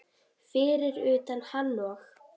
Fyrir utan hann og